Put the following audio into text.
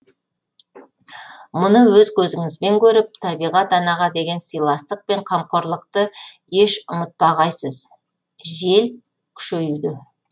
мұны өз көзіңізібен көріп табиғат анаға деген сыйластық пен қамқорлықты еш ұмытпағайсыз жел күшеюде